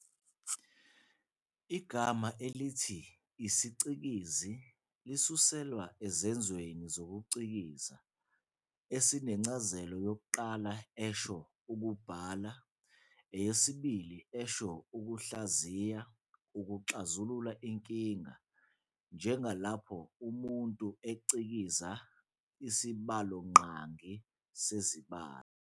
Igama elithi "isicikizi" lisuselwa esenzweni sokucikiza, esinencazelo yokuqala esho "ukubhala", eyesibili isho "ukuhlaziya, ukuxazulula inkinga," njengalapho umuntu ecikiza isibalonqangi sezibalo.